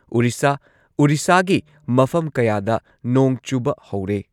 ꯎꯔꯤꯁꯥ ꯎꯔꯤꯁꯥꯒꯤ ꯃꯐꯝ ꯀꯌꯥꯗ ꯅꯣꯡ ꯆꯨꯕ ꯍꯧꯔꯦ ꯫